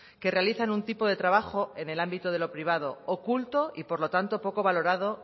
que realizan un tipo de trabajo en el ámbito de lo privado oculto y por lo tanto poco valorado